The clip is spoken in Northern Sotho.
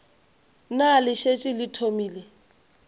na le šetše le thomile